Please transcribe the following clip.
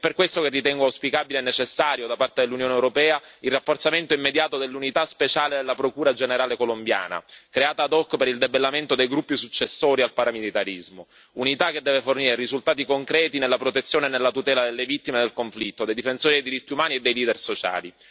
È per questo che ritengo auspicabile e necessario, da parte dell'Unione europea, il rafforzamento immediato dell'unità speciale della Procura generale colombiana, creata ad hoc per il debellamento dei gruppi successori al paramilitarismo, unità che deve fornire risultati concreti nella protezione e nella tutela delle vittime del conflitto, dei difensori dei diritti umani e dei leader sociali.